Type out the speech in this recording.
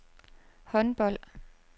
håndbold